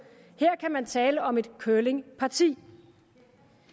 her kan man tale om et curlingparti